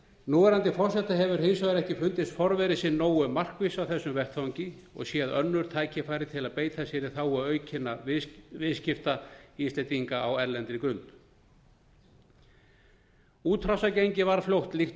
núverandi forseta hefur hins vegar ekki fundist forveri sinn nógu markviss á þessum vettvangi og séð önnur tækifæri til að beita sér í þágu aukinna viðskipta íslendinga á erlendri grund útrásargengið var fljótt líkt